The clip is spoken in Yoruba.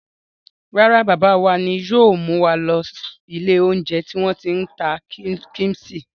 Rárá, bàbá wa ni yóò mú wa lọ ilé-oúnjẹ tí wọ́n ti ń ta kíḿṣì.